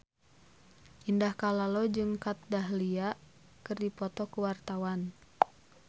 Indah Kalalo jeung Kat Dahlia keur dipoto ku wartawan